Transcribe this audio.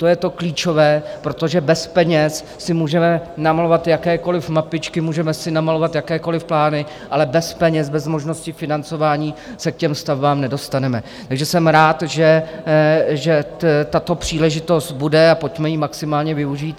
To je to klíčové, protože bez peněz si můžeme namalovat jakékoliv mapičky, můžeme si namalovat jakékoliv plány, ale bez peněz, bez možnosti financování, se k těm stavbám nedostaneme, takže jsem rád, že tato příležitost bude, a pojďme ji maximálně využít.